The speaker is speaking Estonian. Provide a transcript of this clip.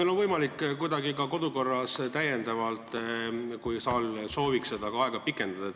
Kas on võimalik kuidagi ka kodukorra järgi täiendavalt aega pikendada, kui saal seda sooviks?